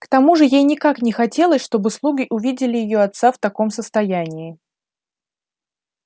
к тому же ей никак не хотелось чтобы слуги увидели её отца в таком состоянии